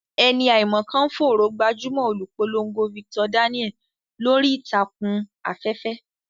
Ẹni àìmọ̀ kan ń fòòró gbajúmọ̀ olùpolongo Victor Daniel lórí ìtàkùn afẹ́fẹ́.